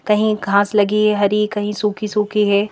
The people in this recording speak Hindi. कहीं घास लगी है हरी कहीं सूखी सूखी है।